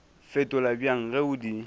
fetola bjang ge o di